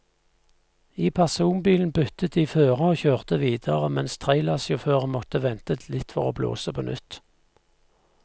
I personbilen byttet de fører og kjørte videre, mens trailersjåføren måtte vente litt for å blåse på nytt.